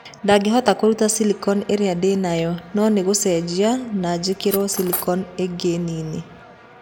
Ndingĩhota kũruta silicon ĩrĩa ndĩ nayo, no nĩ gũcenjia na njĩkĩrwo silicon ĩngĩ nini.'